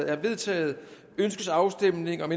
er vedtaget ønskes afstemning om